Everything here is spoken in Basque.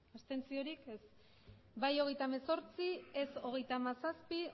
emandako botoak hirurogeita hamabost bai hogeita hemezortzi ez hogeita hamazazpi